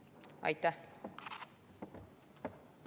Aitäh!